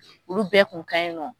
Olu bɛɛ kun ka ɲi nɔ.